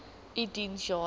u diens jare